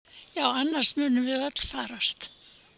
Annars munum við öll farast!